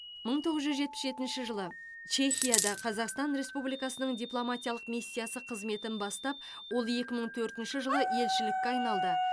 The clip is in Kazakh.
мың тоғыз жүз жетпіс жетінші жылы чехияда қазақстан республикасының дипломатиялық миссиясы қызметін бастап ол екі мың төртінші жылы елшілікке айналды